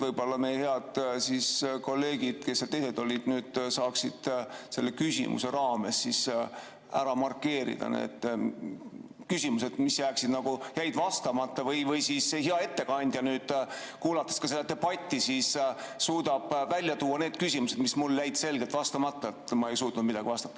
Võib-olla meie head kolleegid, kes seal olid, saaksid selle küsimuse raames ära markeerida need küsimused, mis jäid vastamata, või siis hea ettekandja, kuulates seda debatti, suudab välja tuua need küsimused, mis mul jäid selgelt vastamata, kui ma ei suutnud midagi vastata.